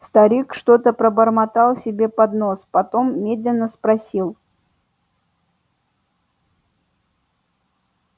старик что-то пробормотал себе под нос потом медленно спросил